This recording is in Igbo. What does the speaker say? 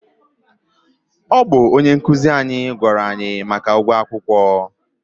ọ bụ onye nkụzi anyị gwara anyị maka ụgwọ akwụkwọ.